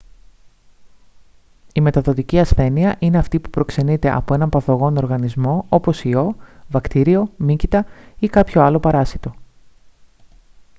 η μεταδοτική ασθένεια είναι αυτή που προξενείται από έναν παθογόνο οργανισμό όπως ιό βακτήριο μύκητα ή κάποιο άλλο παράσιτο